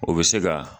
O bɛ se ka